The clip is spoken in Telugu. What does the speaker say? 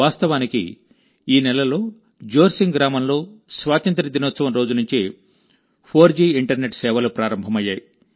వాస్తవానికి ఈ నెలలో జోర్సింగ్ గ్రామంలో స్వాతంత్య్ర దినోత్సవం రోజు నుంచే 4జీ ఇంటర్నెట్ సేవలు ప్రారంభమయ్యాయి